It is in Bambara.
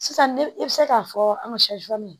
Sisan ne bɛ se k'a fɔ an ka